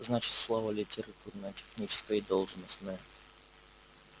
значит слава литературная техническая и должностная